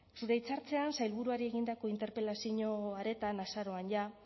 zure hitzartzean sailburuari egindako interpelazio hartan azaroan jada